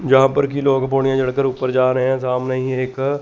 यहां पर कि लोग पौड़ियां चढ़कर ऊपर जा रहे हैं सामने ही एक--